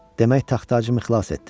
Demək taxtacımı xilas etdin.